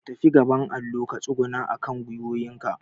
ka fita gaban allo ka tsuguna akan gwiwowin ka